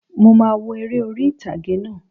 Mo máà wo eré orí ìtàgé náà